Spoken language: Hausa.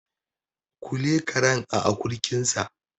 Kule karen a akurkinsa